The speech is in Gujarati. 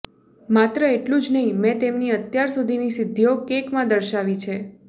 માત્ર એટલું જ નહીં મેં તેમની અત્યાર સુધીની સિદ્ધિઓ કેકમાં દર્શાવી છે